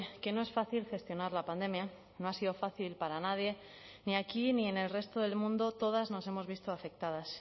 que no es fácil gestionar la pandemia no ha sido fácil para nadie ni aquí ni en el resto del mundo todas nos hemos visto afectadas